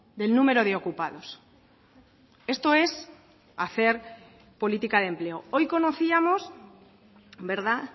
del número de ocupados esto es hacer política de empleo hoy conocíamos verdad